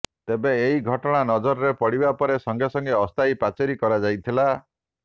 ତେବେ ଏହି ଘଟଣା ନଜରରେ ପଡ଼ିବା ପରେ ସଙ୍ଗେସଙ୍ଗେ ଅସ୍ଥାୟୀ ପାଚେରି କରାଯାଇଥିଲା